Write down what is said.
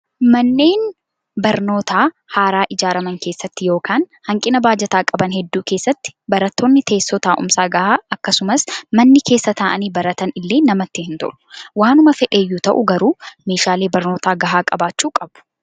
Manneen barnootaa haaraa ijaaraman keessatti yookaan hanqina baajataa qaban hedduu keessatti barattoonni teessoo taa'umsaa gahaa akkasumas manni keessa taa'anii baratan illee namatti hin tolu. Waanuma fedheyyuu ta'u garuu meeshaalee barnootaa gahaa qabaachuu qabu.